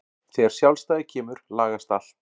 Þegar sjálfstæðið kemur lagast allt.